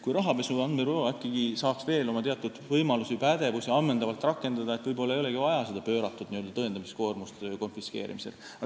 Kui rahapesu andmebüroo saaks veel mõningaid oma võimalusi ja pädevust ammendavalt rakendada, siis ei oleks võib-olla vajagi pööratud tõendamiskoormust rakendada.